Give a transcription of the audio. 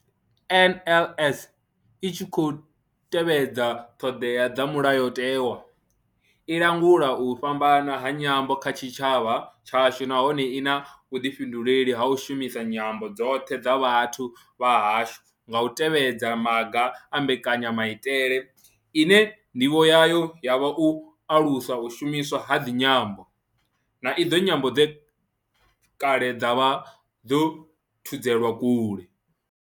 NLS I tshi khou tevhedza ṱhodea dza Mulayotewa, i langula u fhambana ha nyambo kha tshitshavha tshashu nahone I na vhuḓifhinduleli ha u shumisa nyambo dzoṱhe dza vhathu vha hashu nga u tevhedza maga a mbekanya maitele ine ndivho yayo ya vha u alusa u shumiswa ha idzi nyambo, na idzo nyambo dze kale dza vha dzo thudzelwa kule.